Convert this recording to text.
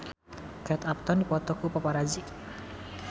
Kate Upton dipoto ku paparazi